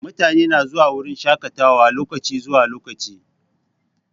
Mutane na zuwa wurin shaƙatawa lokaci zuwa lokaci.